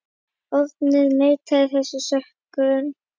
Árni neitaði þessum sökum.